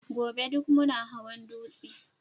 gobe duk muna hawan dutse